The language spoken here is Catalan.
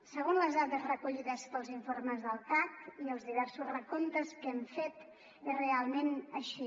segons les dades recollides pels informes del cac i els diversos recomptes que hem fet és realment així